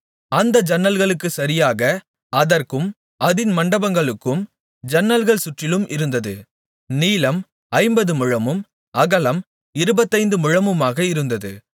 அந்த ஜன்னல்களுக்குச் சரியாக அதற்கும் அதின் மண்டபங்களுக்கும் ஜன்னல்கள் சுற்றிலும் இருந்தது நீளம் ஐம்பதுமுழமும் அகலம் இருபத்தைந்து முழமுமாக இருந்தது